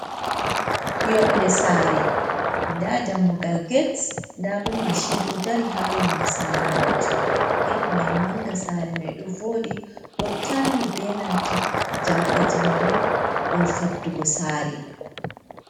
Yonɗe sare ɗa dammugal gete ɗa ɓo mashin do dari ha yonɗe sare majum gate mai manga sare mai ɗo voɗi ɗo tarni be nanta jamɗe jamanu ɗum faɗɗugo sare.